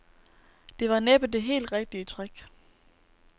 Det var næppe det helt rigtige træk.